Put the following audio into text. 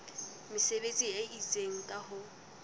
mesebetsi e itseng ka ho